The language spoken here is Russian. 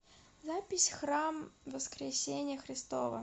запись храм воскресения христова